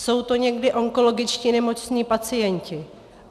Jsou to někdy onkologicky nemocní pacienti.